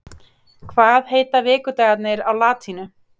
hvað heita vikudagarnir á latínu